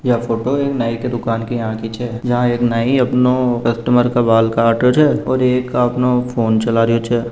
ये फोटो एक नई की दुकान के यहां की छ यहाँ एक नई अपनो कस्टमर का बाल काट रहियो छ एक आपणो फ़ोन चला रहियो छ।